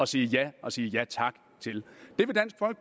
sige ja og sige ja tak til